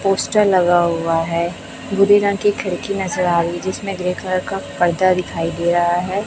Poster लगा हुआ है भूरे रंग के खिड़की नजर आ रही है जिसमें ग्रे कलर का पर्दा दिखाई दे रहा है।